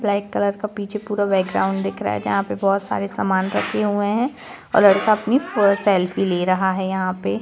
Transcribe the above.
black colour का पीछे पूरा बैकग्राउंड दिख रहा है जहां पर बहुत सारे सामान रखे हुए हैं और लड़का अपनी सेल्फी ले रहा है यहां पे--